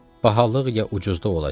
Bahalıq, ya ucuzluq olacaq?